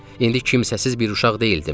İndi kimsəsiz bir uşaq deyildim.